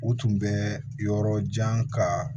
U tun bɛ yɔrɔ jan kaa